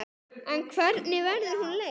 En hvernig verður hún leyst?